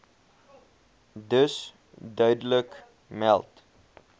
dus duidelik meld